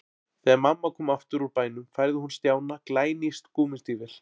Þegar mamma kom aftur úr bænum færði hún Stjána glæný gúmmístígvél.